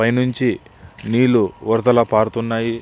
పైన నుంచి నీళ్ళు వరదలగా పారుతున్నాయి.